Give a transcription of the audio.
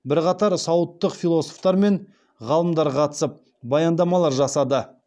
бірқатар саудтық философтар мен ғалымдар қатысып баяндамалар жасады